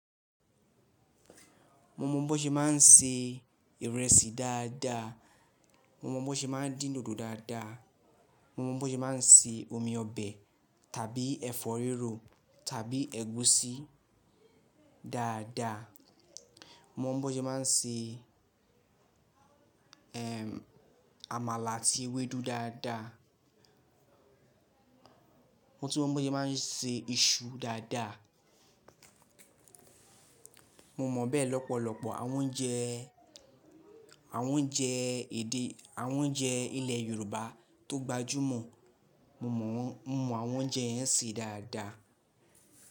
Mo mọ bó ṣe máa ń se ìrẹsì dáadáa. Mo mọ bó ṣe máa ń dín dòdò dáadáa. Mo mọ bó ṣe máa ń se omi ọbẹ̀ tàbí ẹ̀fọ́ rírò tàbí ẹ̀gúsí dáadáa. Mo mọ bó ṣe máa ń se, ehn, àmàlà àti ewédú dáadáa. Mo tí mọ bó ṣe máa ń se iṣu dáadáa. Mo mọ bẹ́ẹ̀ lọ́pọ̀lọpọ̀ àwọn oúnjẹ, àwọn oúnjẹ èdè, àwọn oúnjẹ ilẹ̀ Yorùbá tó gbajúmọ̀. Mo mọ, mo mọ àwọn oúnjẹ yẹn se dáadáa.